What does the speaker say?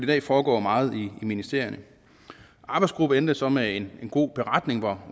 dag foregår meget i ministerierne arbejdsgruppen endte så med en god beretning hvor